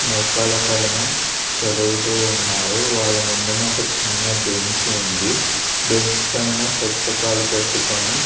మోకాళ్ళ పైన చదువుతూ ఉన్నారు. వాళ్ళ ముందన ఒక చిన్న బెంచ్ ఉంది. బెంచ్ పైన పుస్తకాలు పెట్టుకుని--